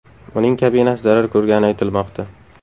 Uning kabinasi zarar ko‘rgani aytilmoqda.